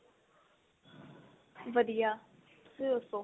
ਵਧੀਆ ਤੁਸੀਂ ਦੱਸੋ